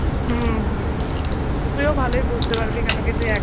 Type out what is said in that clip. হম হম তুইও ভালই বুঝতে পারবি কেন কি তুই একা,